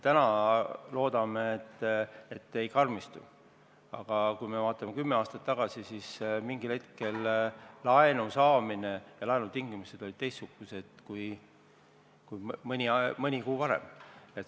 Täna me loodame, et need ei karmistu, aga kui vaatame kümne aasta tagusesse aega, siis mingil hetkel olid laenu saamise tingimused teistsugused kui mõni kuu varem.